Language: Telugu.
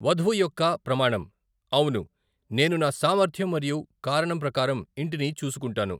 వధువు యొక్క ప్రమాణం, అవును, నేను నా సామర్ధ్యం మరియు కారణం ప్రకారం ఇంటిని చూసుకుంటాను.